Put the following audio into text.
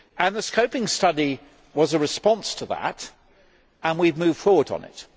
The scoping study was a response to that and we have moved forward on it.